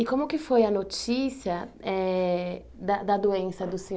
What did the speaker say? E como que foi a notícia eh da da doença do Seu